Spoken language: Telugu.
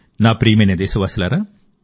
నా ప్రియమైన దేశవాసులారా